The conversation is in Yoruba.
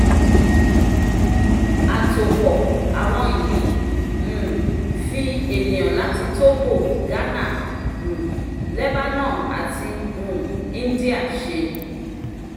àtòpọ̀-àwọ̀n yìí um fi ènìyàn láti togo ghana um lebanon àti um india ṣe.